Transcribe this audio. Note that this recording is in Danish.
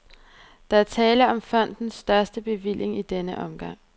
Der er tale om fondens største bevilling i denne omgang.